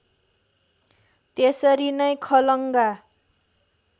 त्यसरी नै खलङ्गा